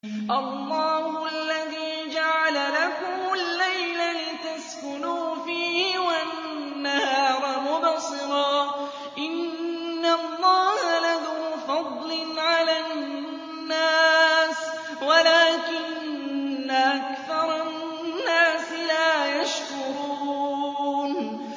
اللَّهُ الَّذِي جَعَلَ لَكُمُ اللَّيْلَ لِتَسْكُنُوا فِيهِ وَالنَّهَارَ مُبْصِرًا ۚ إِنَّ اللَّهَ لَذُو فَضْلٍ عَلَى النَّاسِ وَلَٰكِنَّ أَكْثَرَ النَّاسِ لَا يَشْكُرُونَ